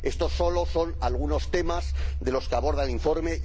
Esto solo son algunos temas de los que aborda el informe